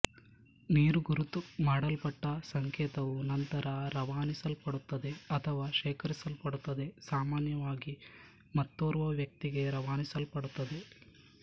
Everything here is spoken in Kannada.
ನೀರುಗುರುತು ಮಾಡಲ್ಪಟ್ಟ ಸಂಕೇತವು ನಂತರ ರವಾನಿಸಲ್ಪಡುತ್ತದೆ ಅಥವಾ ಶೇಖರಿಸಿಡಲ್ಪಡುತ್ತದೆ ಸಾಮಾನ್ಯವಾಗಿ ಮತ್ತೋರ್ವ ವ್ಯಕ್ತಿಗೆ ರವಾನಿಸಲ್ಪಡುತ್ತದೆ